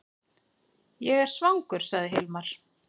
Ég er svangur, sagði Hilmar.